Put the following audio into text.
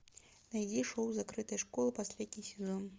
найди шоу закрытая школа последний сезон